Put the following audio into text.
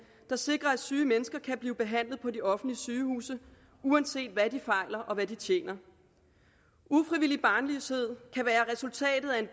der sikrer at syge mennesker kan blive behandlet på de offentlige sygehuse uanset hvad de fejler og hvad de tjener ufrivillig barnløshed kan være resultatet af